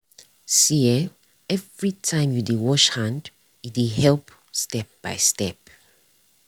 see eh everytime you dey wash hand e dey help step by step.